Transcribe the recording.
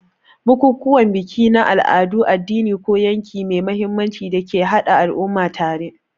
Bukukuwan biki ne na al'adu, addini, ko yanayi mai mahimmanci da ke haɗa al'umma tare.